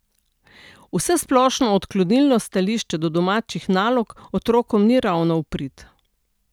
Vsesplošno odklonilno stališče do domačih nalog otrokom ni ravno v prid.